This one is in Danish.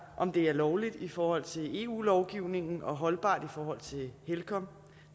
om det er lovligt i forhold til eu lovgivningen og holdbart i forhold til helcom